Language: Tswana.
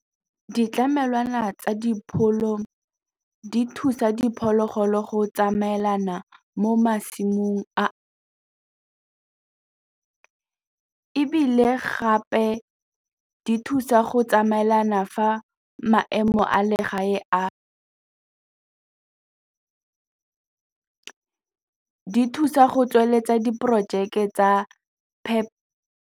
Ditlamelwana tsa dipholo di thusa diphologolo go tsamaelana mo masimong ebile gape di thusa go tsamaelana fa maemo a le gae di thusa go tsweletsa diporojeke tsa .